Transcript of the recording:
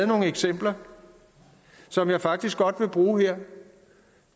nogle eksempler som jeg faktisk godt vil bruge her